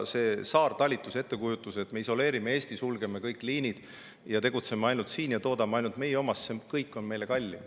Selle saartalituse ettekujutuse puhul, et me isoleerime Eesti, sulgeme kõik liinid, tegutseme ainult siin ja toodame ainult oma, on kõik meile kallim.